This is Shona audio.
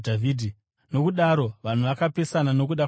Nokudaro vanhu vakapesana nokuda kwaJesu.